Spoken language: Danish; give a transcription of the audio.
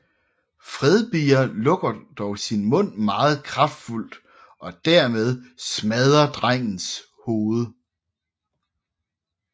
Fredbear lukker dog sin mund meget kraftfuldt og dermed smadre drengens hoved